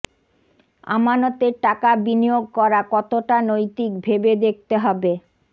আমানতের টাকা বিনিয়োগ করা কতটা নৈতিক ভেবে দেখতে হবে